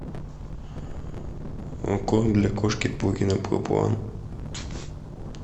корм для кошек пурина проплан